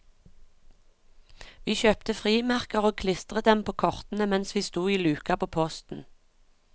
Vi kjøpte frimerker og klistret dem på kortene mens vi sto i luka på posten.